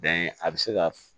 Bɛn a bɛ se ka